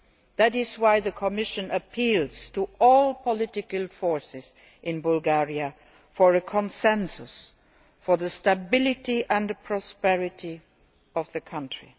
That is why the Commission appeals to all political forces in Bulgaria for a consensus, for the stability and the prosperity of the country.